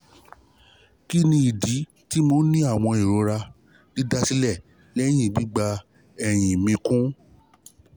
kí ni idi ti mo ni awọn irora didasilẹ lẹ́yìn gbigba lẹhin gbigba ehin mi kun?